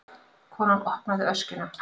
Konan opnaði öskjuna.